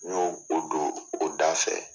N y'o o do o da fɛ.